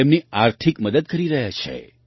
તેમની આર્થિક મદદ કરી રહ્યા છે